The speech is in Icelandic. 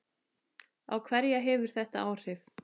Á hverja hefur þetta áhrif?